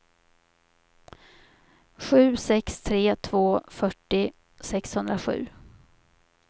sju sex tre två fyrtio sexhundrasju